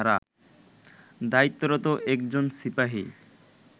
দায়িত্বরত একজন সিপাহি